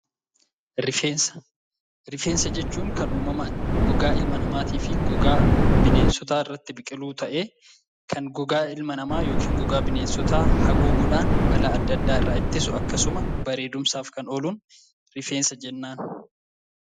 Rifeensa Rifeensa jechuun kan uumamaan gogaa ilma namaatii fi gogaa bineensotaa irratti biqilu ta'ee, kan gogaa ilma namaa yookiin gogaa bineensotaa haguuguudhaan balaa adda addaa irraa ittisu akkasuma bareedumsaaf kan ooluun rifeensa jennaan.